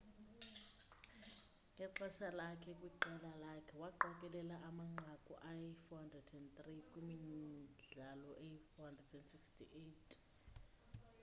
ngexesha lakhe kwiqela lakhe waqokelela amanqaku ayi 403 kwimidlalo eyi 468